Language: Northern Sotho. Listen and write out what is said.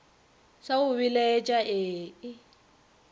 sa go belaetša ee e